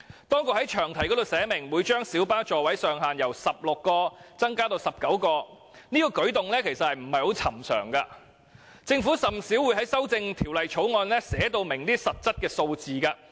當局在詳題中寫明將小巴座位上限由16個增至19個，這舉動並不尋常，政府是甚少會在修訂法案中寫出明確數字的。